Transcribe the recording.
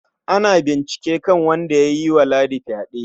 Ana bincike kan wanda ya yi wa Ladi fyaɗe.